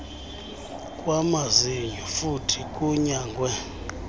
kwamazinyo futhi kunyangwe